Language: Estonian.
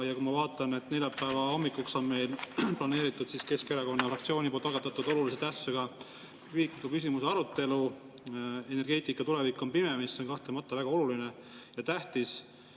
Ma vaatan, et neljapäeva hommikuks on meil planeeritud Keskerakonna fraktsiooni algatatud olulise tähtsusega riikliku küsimuse arutelu "Energeetika tulevik on pime?", mis on kahtlemata väga oluline ja tähtis.